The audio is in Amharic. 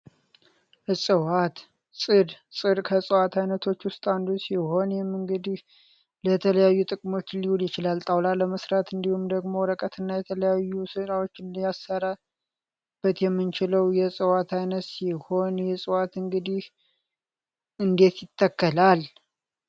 ዕፀዋት ፅድ ፅድ ከእፅዋት ዓይነቶች ውስጥ አንዱ ሲሆን፤ ይህም እንግዲህ ለተለያዩ ጥቅሞች ሊውል ይችላል ። ጣውላ ለመሥራት እንዲሁም ደግሞ ወረቀት እና የተለያዩ ስራዎችን እያሰረበት የምንችለው የዕፀዋት አይነት ሲሆን ይህ እፅዋት እንግዲህ እንዴት ይተከላል?